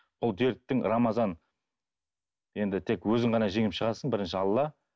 бұл дерттің рамазан енді тек өзің ғана жеңіп шығасың бірінші алла